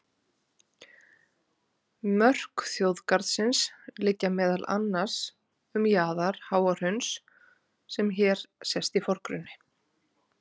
Mörk þjóðgarðsins liggja meðal annars um jaðar Háahrauns sem hér sést í forgrunni.